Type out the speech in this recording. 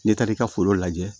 N'i taara i ka foro lajɛ